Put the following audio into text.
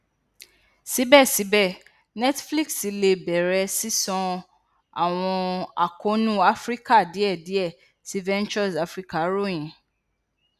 sibẹsibẹ netflix le bẹrẹ ṣiṣan awọn akoonu afirika diẹ diẹ sii ventures africa royin